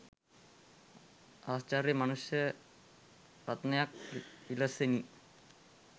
ආශ්චර්ය මනුෂ්‍ය රත්නයක් විලසිනි.